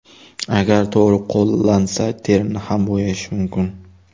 Agar to‘g‘ri qo‘llansa, terini ham bo‘yash mumkin.